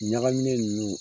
Ɲagaminen ninnu